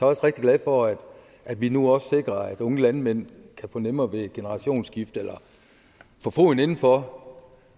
også rigtig glad for at vi nu også sikrer at unge landmænd kan få nemmere ved generationsskifte eller få foden indenfor